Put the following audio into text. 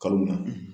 Kalo na